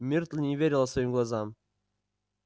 миртл не верила своим глазам